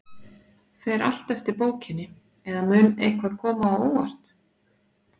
Fer allt eftir bókinni, eða mun eitthvað koma á óvart?